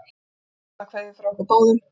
Ástarkveðjur frá okkur báðum.